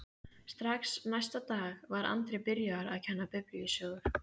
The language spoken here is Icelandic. Strax næsta dag var Andri byrjaður að kenna biblíusögur.